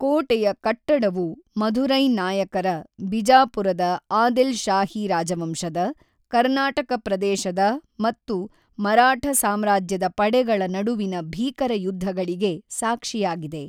ಕೋಟೆಯ ಕಟ್ಟಡವು ಮಧುರೈ ನಾಯಕರ, ಬಿಜಾಪುರದ ಆದಿಲ್ ಶಾಹಿ ರಾಜವಂಶದ, ಕರ್ನಾಟಕ ಪ್ರದೇಶದ ಮತ್ತು ಮರಾಠ ಸಾಮ್ರಾಜ್ಯದ ಪಡೆಗಳ ನಡುವಿನ ಭೀಕರ ಯುದ್ಧಗಳಿಗೆ ಸಾಕ್ಷಿಯಾಗಿದೆ.